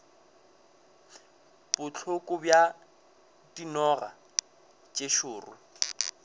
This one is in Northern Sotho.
bohloko bja dinoga tše šoro